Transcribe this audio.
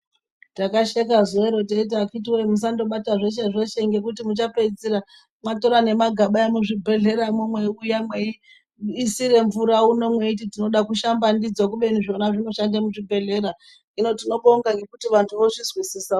Takasheka zuwa iroro teiti akiti woyee musandobata zveshe zveshe ngekuti muchapedzisira mwatora nemagaba emuzvibhedhlera imwimwi mweiuya mweisire mvura uno mweiti tinoda kushamba ndidzo kubeni zvona zvinoshande muzvibhedhlera hino tinobonga ngekuti vanthu vozvizwisisa.